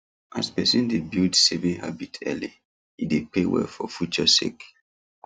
as person dey build saving habit early e dey pay well for future sake